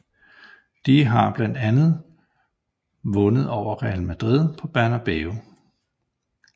De har blandt andet bundet over Real Madrid på Bernabeu